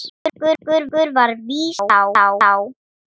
Okkur var vísað frá.